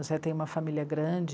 O Zé tem uma família grande.